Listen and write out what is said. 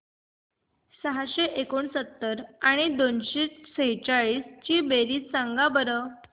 सहाशे एकोणसत्तर आणि दोनशे सेहचाळीस ची बेरीज सांगा बरं